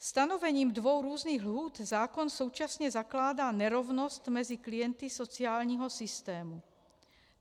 Stanovením dvou různých lhůt zákon současně zakládá nerovnost mezi klienty sociálního systému.